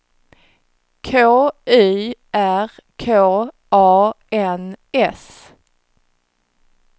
K Y R K A N S